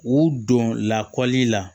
U don lakɔli la